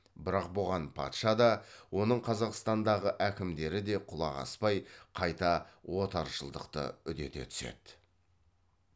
бірақ бұған патша да оның қазақстандағы әкімдері де құлақ аспай қайта отаршылдықты үдете түседі